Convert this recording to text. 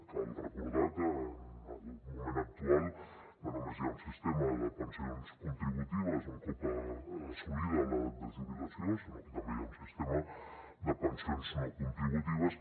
cal recordar que en el moment actual no només hi ha un sistema de pensions contributives un cop assolida l’edat de jubilació sinó que també hi ha un sistema de pensions no contributives